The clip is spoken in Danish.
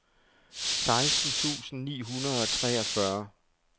seksten tusind ni hundrede og treogfyrre